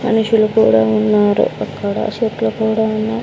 మనుషులు కూడా ఉన్నారు అక్కడ సెట్లు కూడా ఉన్నాయ్.